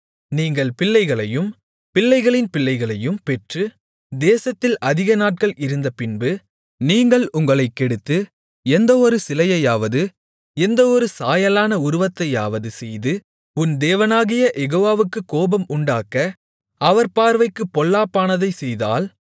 நீங்கள் பிள்ளைகளையும் பிள்ளைகளின் பிள்ளைகளையும் பெற்று தேசத்தில் அதிக நாட்கள் இருந்தபின்பு நீங்கள் உங்களைக் கெடுத்து எந்தவொரு சிலையையாவது எந்தவொரு சாயலான உருவத்தையாவது செய்து உன் தேவனாகிய யெகோவாவுக்குக் கோபம் உண்டாக்க அவர் பார்வைக்குப் பொல்லாப்பானதைச் செய்தால்